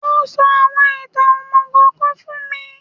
Ó sọ àwọn ìtàn òmùgò kan fún mi